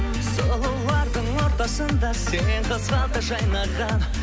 сұлулардың ортасында сен қызғалдақ жайнаған